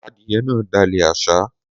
Adìẹ náà dàlẹ̀ àṣá